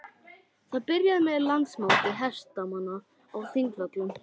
Það byrjaði með Landsmóti hestamanna á Þingvöllum.